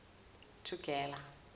thugela